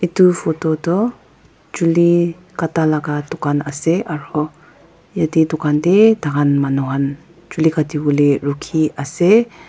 etu photo toh chuli kata laga dukan ase aru ete dukan te tai khan manu khan chuli kati wole rukhi ase.